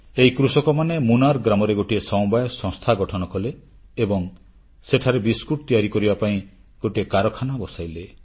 ଏହି କୃଷକମାନେ ମୁନାର ଗ୍ରାମରେ ଗୋଟିଏ ସମବାୟ ସଂସ୍ଥା ଗଠନ କଲେ ଏବଂ ସେଠାରେ ବିସ୍କୁଟ ତିଆରି କରିବା ପାଇଁ ଗୋଟିଏ କାରଖାନା ବସାଇଲେ